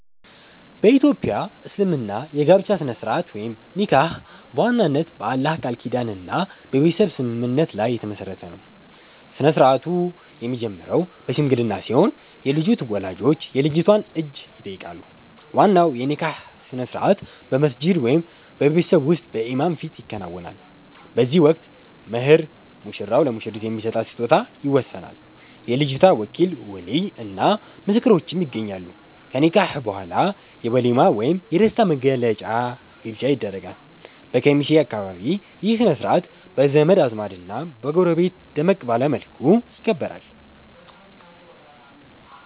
በ ኢትዮጵያ እስልምና የጋብቻ ሥነ-ሥርዓት (ኒካህ) በዋናነት በአላህ ቃል ኪዳንና በቤተሰብ ስምምነት ላይ የተመሠረተ ነው። ሥርዓቱ የሚጀምረው በሽምግልና ሲሆን፣ የልጁ ወላጆች የልጅቷን እጅ ይጠይቃሉ። ዋናው የኒካህ ሥነ-ሥርዓት በመስጂድ ወይም በቤት ውስጥ በኢማም ፊት ይከናወናል። በዚህ ወቅት "መህር" (ሙሽራው ለሙሽሪት የሚሰጣት ስጦታ) ይወሰናል፤ የልጅቷ ወኪል (ወሊይ) እና ምስክሮችም ይገኛሉ። ከኒካህ በኋላ የ"ወሊማ" ወይም የደስታ መግለጫ ግብዣ ይደረጋል። በኬሚሴ አካባቢ ይህ ሥነ-ሥርዓት በዘመድ አዝማድና በጎረቤት ደመቅ ባለ መልኩ ይከበራል።